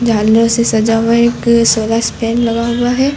से सजा हुआ एक सोलर लगा हुआ है।